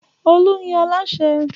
Olú ni alasẹ́.